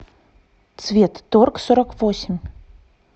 цветторгсороквосемь